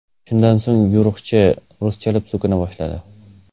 Shundan so‘ng yo‘riqchi ruschalab so‘kina boshladi.